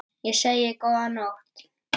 Ég segi: Góða nótt!